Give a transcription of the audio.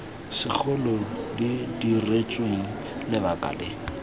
segolo di diretsweng lebaka le